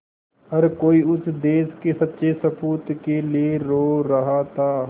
हर कोई उस देश के सच्चे सपूत के लिए रो रहा था